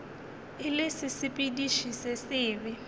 e le sesepediši se sebe